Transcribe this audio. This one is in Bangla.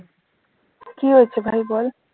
কি হয়েছে ভাই বল,